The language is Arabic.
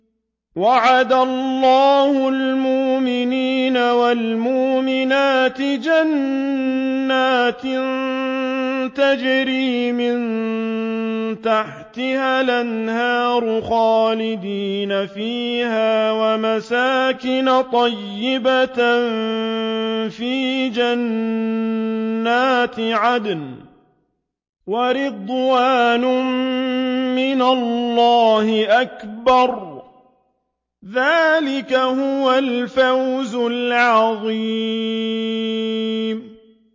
وَعَدَ اللَّهُ الْمُؤْمِنِينَ وَالْمُؤْمِنَاتِ جَنَّاتٍ تَجْرِي مِن تَحْتِهَا الْأَنْهَارُ خَالِدِينَ فِيهَا وَمَسَاكِنَ طَيِّبَةً فِي جَنَّاتِ عَدْنٍ ۚ وَرِضْوَانٌ مِّنَ اللَّهِ أَكْبَرُ ۚ ذَٰلِكَ هُوَ الْفَوْزُ الْعَظِيمُ